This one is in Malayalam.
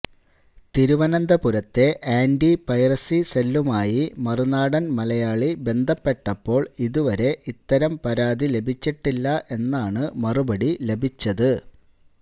തിരുവനന്തപുരത്തെ ആന്റി പൈറസി സെല്ലുമായി മറുനാടൻ മലയാളി ബന്ധപ്പെട്ടപ്പോൾ ഇതുവരെ ഇത്തരം പരാതി ലഭിച്ചിട്ടില്ല എന്നാണ് മറുപടി ലഭിച്ചത്